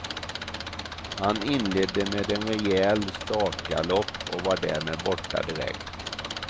Han inledde med en rejäl startgalopp och var därmed borta direkt.